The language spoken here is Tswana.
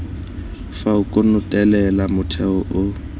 fa o konotelela motheo o